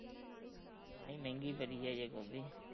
ਨਹੀਂ ਮਹਿੰਗੀ ਬਰੀ ਐ ਅਜੇ ਗੋਭੀ